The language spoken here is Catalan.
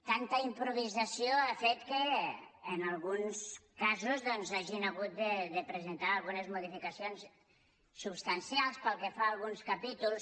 tanta improvisació ha fet que en alguns casos hagin hagut de presentar algunes modificacions substancials pel que fa a alguns capítols